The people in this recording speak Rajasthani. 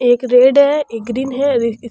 एक रेड है एक ग्रीन है।